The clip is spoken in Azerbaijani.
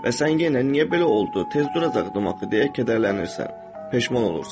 Və sən yenə niyə belə oldu, tez duracaqdım axı deyə kədərlənirsən, peşman olursan.